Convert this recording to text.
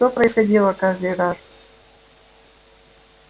что происходило каждый раз